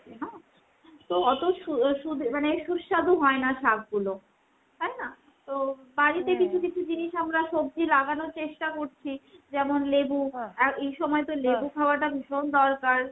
থাকে না ? তো অতো সু সুদে মানে সুস্বাদু হয় না শাকগুলো। তাই না ? তো কিছু কিছু জিনিস আমরা সব্জি লাগানোর চেষ্টা করছি। যেমন এই সময় তো খাওয়াটা ভীষণ দরকার।